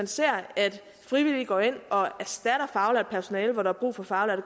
ser at frivillige går ind og erstatter faglært personale hvor der er brug for faglært